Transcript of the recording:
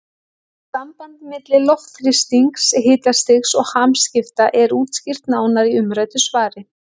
Þetta samband milli loftþrýstings, hitastigs og hamskipta er útskýrt nánar í umræddu svari.